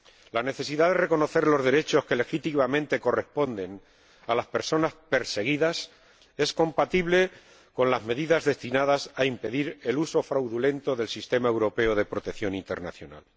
La necesidad de reconocer los derechos que legítimamente corresponden a las personas perseguidas es compatible con las medidas destinadas a impedir el uso fraudulento del sistema europeo de protección internacional.